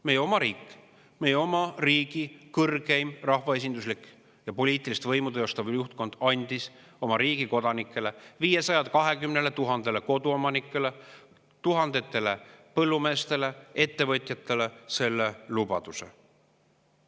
Meie oma riik, meie oma riigi kõrgeim rahvaesinduslik ja poliitilist võimu teostav juhtkond andis oma riigi kodanikele, 520 000 koduomanikule, tuhandetele põllumeestele ja ettevõtjatele selle lubaduse.